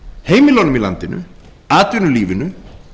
heimilunum í landinu atvinnulífinu